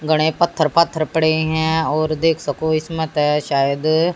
गने पत्थर पात्थर पड़े है और देख सको इसम त शायद--